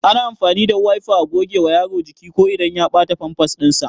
Ana amfani da Wayfa a gogewa Yaro jiki ko inda ya bata Famfas din sa